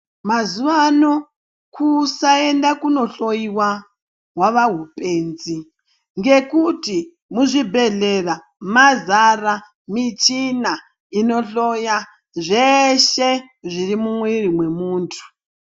Muzuvano kusaenda kunohloyiwa hwava hupenzi ngekuti muzvibhedhlera mazara michina inohloya zveshe zviri mumwiri mwemuntu.